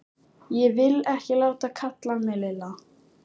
Ég vil ekki láta kalla mig Lilla!